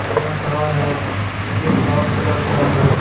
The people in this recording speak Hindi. यह कार हैयह लाल कलर का है।